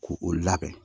K'u u labɛn